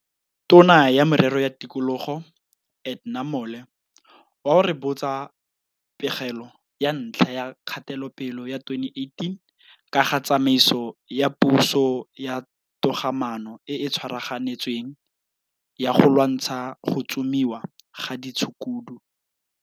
tona ya Merero ya Tikologo, Edna Mole wa o rebotsa pegelo ya ntlha ya kgatelopele ya 2018 ka ga tsamaiso ya puso ya togamaano e e tswaraganetsweng ya go lwantsha go tsomiwa ga ditshukudu.